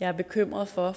jeg er bekymret for at